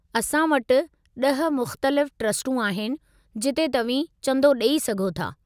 असां वटि 10 मुख़्तलिफ़ ट्रस्टूं आहिनि जिते तव्हीं चंदो ॾेई सघो था।